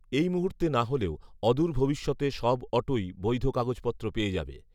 এই মুহুর্তে না হলেও, অদূর ভবিষ্যতে সব অটোই বৈধ কাগজপত্র পেয়ে যাবে